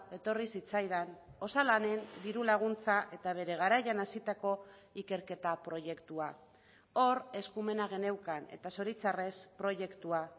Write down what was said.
etorri zitzaidan osalanen diru laguntza eta bere garaian hasitako ikerketa proiektua hor eskumena geneukan eta zoritzarrez proiektua